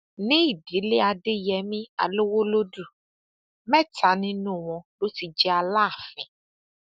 ní ìdílé adéyẹmi alowolódù mẹta nínú wọn ló ti jẹ aláàfin